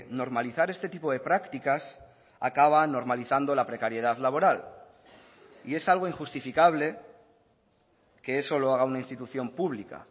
normalizar este tipo de prácticas acaba normalizando la precariedad laboral y es algo injustificable que eso lo haga una institución pública